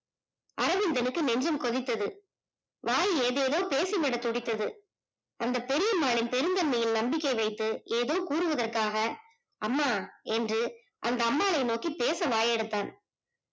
அரவிந்தனுக்கு நெஞ்சம் கொதித்தது வாய் ஏதேதோ பேசவிட துடித்தது அந்த பெரிய அம்மாளின் பெருந்தன்மையில் நம்பிக்கை வைத்து ஏதோ கூறுவதற்காக அம்மா என்று அந்த அம்மாளின் நோக்கி பேச வாய் அடைத்தான்